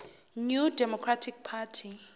new democratic party